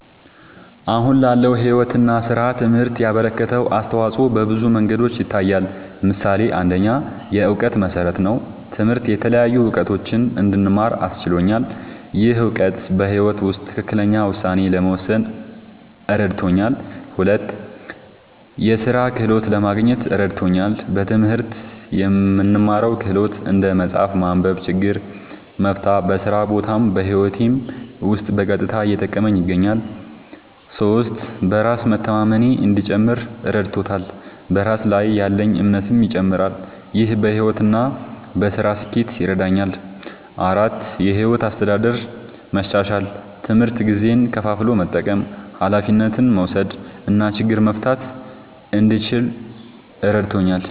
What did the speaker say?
አሁን ላለው ሕይወት እና ሥራ ትምህርት ያበረከተው አስተዋጾ በብዙ መንገዶች ይታያል። ምሳሌ ፩, የእውቀት መሠረት ነዉ። ትምህርት የተለያዩ እዉቀቶችን እንድማር አስችሎኛል። ይህ እውቀት በሕይወት ውስጥ ትክክለኛ ውሳኔ ለመወሰን እረድቶኛል። ፪, የሥራ ክህሎት ለማግኘት እረድቶኛል። በትምህርት የምንማረው ክህሎት (እንደ መጻፍ፣ ማንበብ፣ ችግር መፍታ) በስራ ቦታም በህይወቴም ዉስጥ በቀጥታ እየጠቀመኝ ይገኛል። ፫. በራስ መተማመኔ እንዲጨምር እረድቶኛል። በራስ ላይ ያለኝ እምነትም ይጨምራል። ይህ በሕይወት እና በሥራ ስኬት ይረዳኛል። ፬,. የሕይወት አስተዳደር መሻሻል፦ ትምህርት ጊዜን ከፋፍሎ መጠቀም፣ ኃላፊነት መውሰድ እና ችግር መፍታት እንድችል እረድቶኛል።